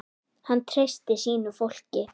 Hann treysti sínu fólki.